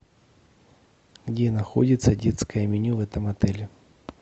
где находится детское меню в этом отеле